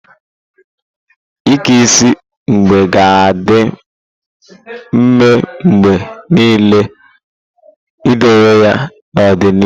Ike isi igbe ga-adị mfe mgbe niile idowe ya n'ọdịnihu.